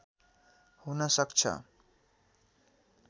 हुन सक्छ।